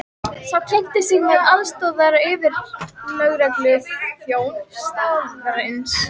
Sá kynnti sig sem aðstoðaryfirlögregluþjón staðarins.